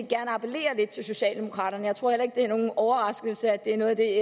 gerne appellere lidt til socialdemokraterne jeg tror ikke det er en overraskelse at det er noget af det